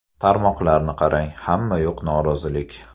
Tarmoqlarni qarang, hamma yoq norozilik.